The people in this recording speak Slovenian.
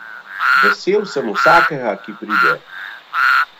Vesel sem vsakega, ki pride.